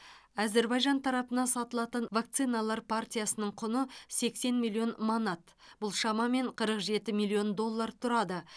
әзербайжан тарапына сатылатын вакциналар партиясының құны сексен миллион манат бұл шамамен қырық жеті миллион доллар тұрады